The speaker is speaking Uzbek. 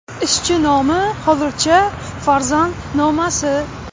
Ishchi nomi hozircha ‘Farzand nomasi’.